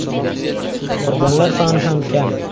Qurbonlar soni ham kam.